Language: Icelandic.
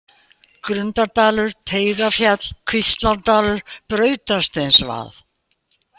Grundardalur, Teigarfjall, Kvíslárdalur, Brautarsteinsvað